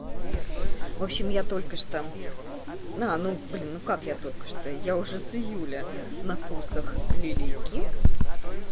в общем я только что на ну блин ну как я только что я уже с июля на курсах лилии ким